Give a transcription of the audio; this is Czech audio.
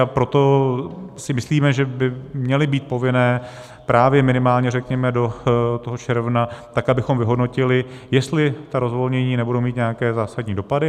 A proto si myslíme, že by měly být povinné právě minimálně, řekněme, do toho června, tak abychom vyhodnotili, jestli ta rozvolnění nebudou mít nějaké zásadní dopady.